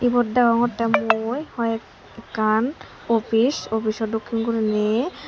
ibot degongotte mui hoi ekkan office offico dokkin guriney.